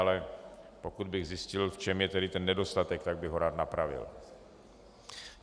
Ale pokud bych zjistil, v čem je tedy ten nedostatek, tak bych ho rád napravil.